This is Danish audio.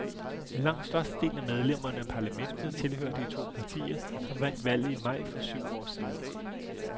Langt størstedelen af medlemmerne af parlamentet tilhører de to partier, som vandt valget i maj for syv år siden.